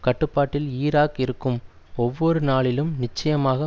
கட்டுப்பாட்டில் ஈராக் இருக்கும் ஒவ்வொரு நாளிலும் நிச்சயமாக